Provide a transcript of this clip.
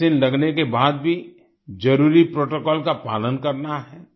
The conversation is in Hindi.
वैक्सीन लगने के बाद भी जरुरी प्रोटोकॉल का पालन करना है